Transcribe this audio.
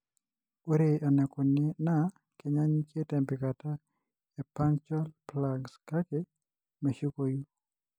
Ore enaikoni na kenyanyuk tempikata e punctal plugs, kake meshukoyu.